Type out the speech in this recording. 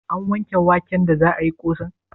An wanke waken da za ayi ƙosan?